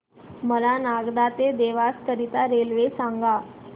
मला नागदा ते देवास करीता रेल्वे सांगा